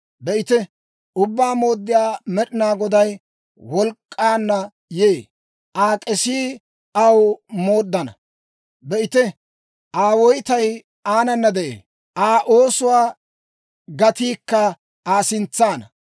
Be'ite, Ubbaa Mooddiyaa Med'inaa Goday wolk'k'aanna yee; Aa k'esii aw mooddana. Be'ite, Aa woytay aanana de'ee; Aa oosuwaa gatiikka Aa sintsaana.